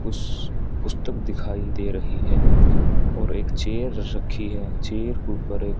कुछ पुस्तक दिखाई दे रही हैं और एक चेयर रखी है चेयर ऊपर--